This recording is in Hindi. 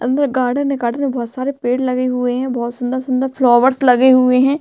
अंदर गार्डन है गार्डन में बहोत सारे पेड़ लगे हुए है बहोत सुंदर-सुंदर फलोवेर्स लगे हए है।